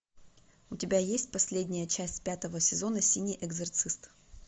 у тебя есть последняя часть пятого сезона синий экзорцист